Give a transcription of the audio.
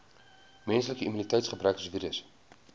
menslike immuniteitsgebrekvirus